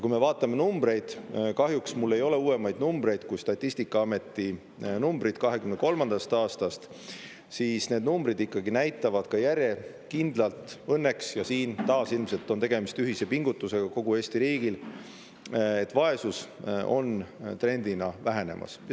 Kui me vaatame numbreid – kahjuks mul ei ole uuemaid numbreid kui Statistikaameti numbrid 2023. aastast –, siis need numbrid ikkagi näitavad ka järjekindlalt õnneks, ja siin taas ilmselt on tegemist ühise pingutusega kogu Eesti riigil, et vaesus on trendina vähenemas.